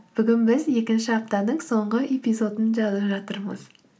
бүгін біз екінші аптаның соңғы эпизодын жазып жатырмыз